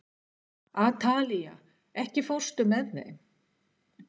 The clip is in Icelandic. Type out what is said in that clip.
Atalía, ekki fórstu með þeim?